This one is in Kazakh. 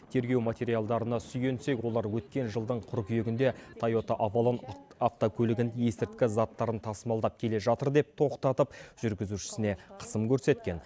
тергеу материалдарына сүйенсек олар өткен жылдың қыркүйегінде тайота авалон автокөлігін есірткі заттарын тасымалдап келе жатыр деп тоқтатып жүргізушісіне қысым көрсеткен